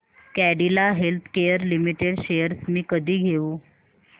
Cadila healthcare limited shares मी कधी घेऊ